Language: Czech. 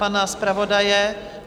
Pana zpravodaje?